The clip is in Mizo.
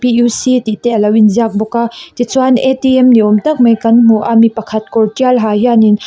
tihte aloin ziak bawka tichuan niawm tak mai kan hmu a mipakhat kawr tial ha hianin.